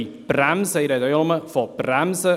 Ich spreche nur vom Bremsen.